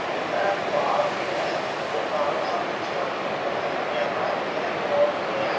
इधर पहाड़ भी है ये पहाड़ का बीच का फोटो हैं लिया हुआ इधर एक रोड भी है।